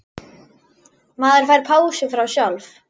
Maður fær pásu frá sjálf